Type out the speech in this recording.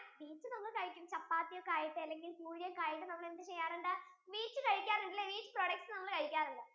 chappathi ഒക്കെ ആയിട്ടു അല്ലെങ്കിൽ ഒക്കെ ആയിട്ടു നമ്മൾ എന്ത് ചെയ്യാറുണ്ട് wheat കഴിക്കാറുണ്ടാലേ wheat products കഴിക്കാറുണ്ട്